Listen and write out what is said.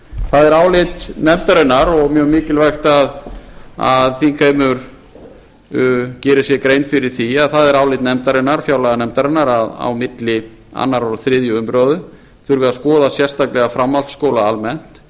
það er álit nefndarinnar og mjög mikilvægt að þingheimur geri sér grein fyrir því að það er álit fjárlaganefndarinnar að á milli annars og þriðju umræðu þurfi að skoða sérstaklega framhaldsskóla almennt